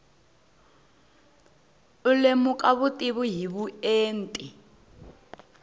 u lemuka vutivi hi vuenti